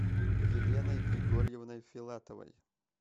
еленой григорьевной филатовой